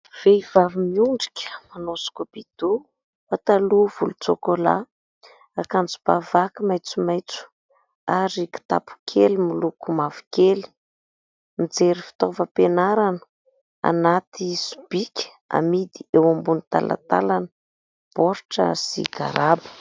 Vehivavy miondrika manao "scoubidou", pataloa volontsôkôla, akanjoba vaky maitsomaitso ary kitapo kely miloko mavokely. Mijery fitaovam-pianarana anaty sobika amidy eo ambony talantalana, baoritra sy garaba.